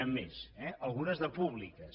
n’hi ha més eh algunes de públiques